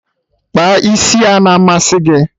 Ịkpa isi a-na amasị gị?